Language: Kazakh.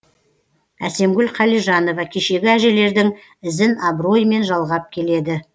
әсемгүл қалижанова кешегі әжелердің ізін абыроймен жалғап келеді